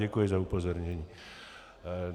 Děkuji za upozornění.